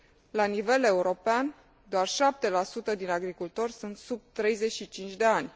La nivel european, doar 7 din agricultori sunt sub 35 ani.